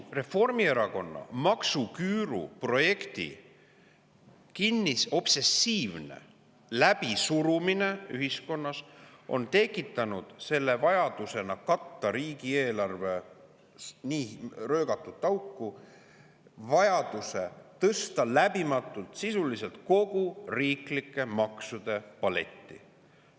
Reformierakonna obsessiivne maksuküüru projekt läbi suruda on ühiskonnas tekitanud vajaduse katta riigieelarve nii röögatut auku, läbivalt, sisuliselt kogu riiklike maksude paletti.